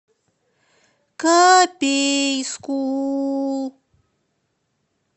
копейску